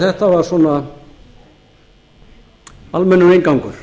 þetta var svona almennur inngangur